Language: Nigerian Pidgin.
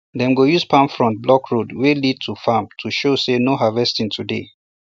dem go use palm frond block road wey lead to farm to show say no harvesting today